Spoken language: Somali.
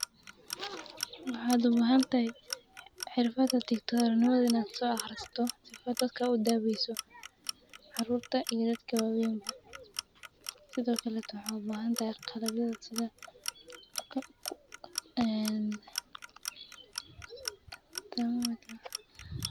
Waxaad u baahan tahay cirbaad tii todhano wadin aad soo akhrasto sifatada ka udabiiso caruurta iibad kaba wiinba sidoo kale tuhoob. Baahan tahay qalab gida sida, oo ku, oo, ee, taamaada.